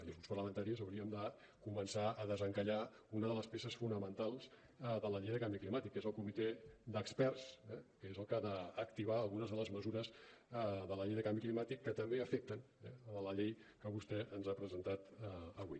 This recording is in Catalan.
i els grups parlamentaris haurien de començar a desencallar una de les peces fonamentals de la llei de canvi climàtic que és el comitè d’experts eh que és el que ha d’activar algunes de les mesures de la llei de canvi climàtic que també afecten a la llei que vostè ens ha presentat avui